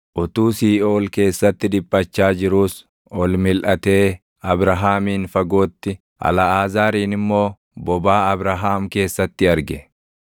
Utuu Siiʼool keessatti dhiphachaa jiruus ol milʼatee Abrahaamin fagootti, Alʼaazaarin immoo bobaa Abrahaam keessatti arge.